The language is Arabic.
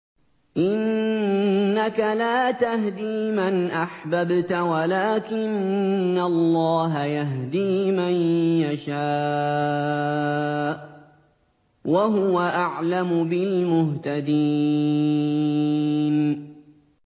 إِنَّكَ لَا تَهْدِي مَنْ أَحْبَبْتَ وَلَٰكِنَّ اللَّهَ يَهْدِي مَن يَشَاءُ ۚ وَهُوَ أَعْلَمُ بِالْمُهْتَدِينَ